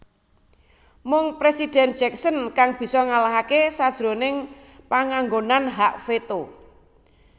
Mung Presiden Jackson kang bisa ngalahake sajroning panganggonan hak veto